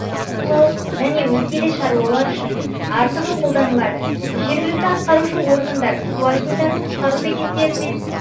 аулау және өзге де шаруалар үшін артығы қолданылады жергілікті атқарушы органдар су айдындарын құтқару бекеттерімен